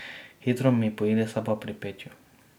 Hitro mi poide sapa pri petju.